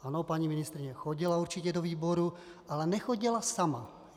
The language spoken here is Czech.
Ano, paní ministryně chodila určitě do výboru, ale nechodila sama.